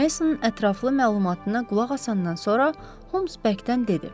Mesonun ətraflı məlumatına qulaq asandan sonra Holmes Berkdən dedi: